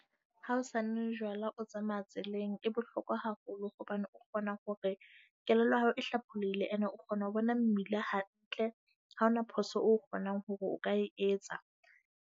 Ha o sa nwe jwala, o tsamaya tseleng e bohlokwa haholo hobane o kgona hore kelello ya hao e hlaolele ene o kgona ho bona mmila hantle. Ha hona phoso o kgonang hore o ka e etsa.